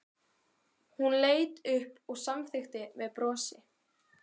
Við munum það vel allir níu.